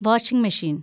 washing മെഷീന്‍